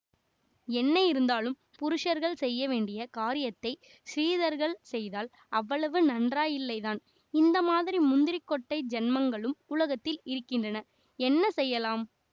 என்ன இருந்தாலும் புருஷர்கள் செய்ய வேண்டிய காரியத்தை ஸ்திரீகள் செய்தால் அவ்வளவு நன்றாயில்லைத்தான் இந்த மாதிரி முந்திரிக் கொட்டை ஜன்மங்களும் உலகத்தில் இருக்கின்றன என்ன செய்யலாம்